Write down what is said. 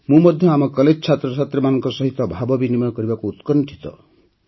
ମୁଁ ମଧ୍ୟ ଆମ କଲେଜ ଛାତ୍ରଛାତ୍ରୀଙ୍କ ସହ ଭାବବିନିମୟ କରିବାକୁ ଉତ୍କଣ୍ଠିତ